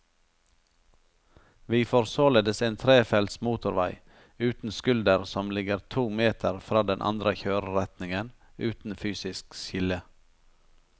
Vi får således en trefelts motorvei uten skulder som ligger to meter fra den andre kjøreretningen, uten fysisk skille.